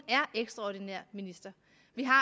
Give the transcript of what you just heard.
vi har